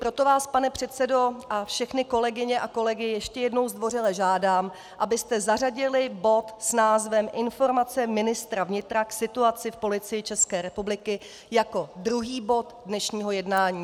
Proto vás, pane předsedo, a všechny kolegyně a kolegy ještě jednou zdvořile žádám, abyste zařadili bod s názvem Informace ministra vnitra k situaci v Policii České republiky jako druhý bod dnešního jednání.